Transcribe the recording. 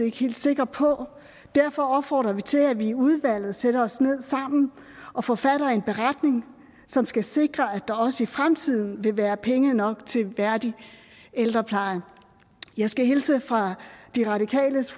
ikke helt sikre på og derfor opfordrer vi til at vi i udvalget sætter os ned sammen og forfatter en beretning som skal sikre at der også i fremtiden vil være penge nok til værdig ældrepleje jeg skal hilse fra de radikales